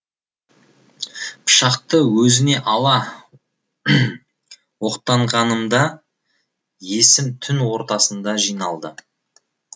пышақты өзіне ала оқтанғанымда есім түн ортасында жиналды